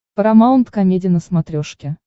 парамаунт комеди на смотрешке